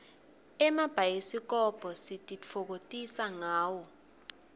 gmabhayisikobho sititfokotisa ngawo